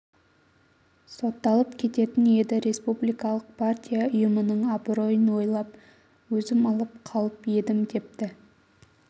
сотталып кететін еді республикалық партия ұйымының абыройын ойлап өзім алып қалып едім депті